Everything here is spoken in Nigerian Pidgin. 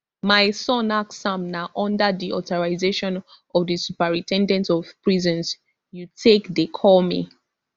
my son ask am na under di authorization of di superin ten dent of prisons you take dey call me